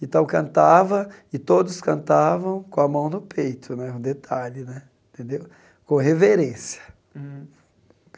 E tal cantava, e todos cantavam com a mão no peito né, um detalhe né, tendeu com reverência. Uhum